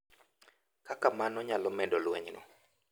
Kaka mano nyalo medo lwenyno.